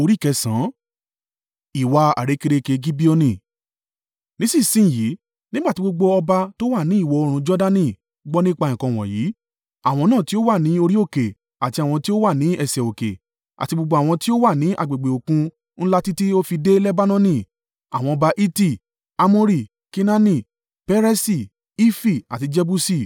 Nísinsin yìí, nígbà tí gbogbo ọba tó wà ní ìwọ̀-oòrùn Jordani gbọ́ nípa nǹkan wọ̀nyí, àwọn náà tí ó wà ní orí òkè àti àwọn tí ó wà ní ẹsẹ̀ òkè, àti gbogbo àwọn tí ó wà ní agbègbè Òkun Ńlá títí ó fi dé Lebanoni (àwọn ọba Hiti, Amori, Kenaani, Peresi, Hifi àti Jebusi)